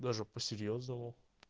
даже по-серьезному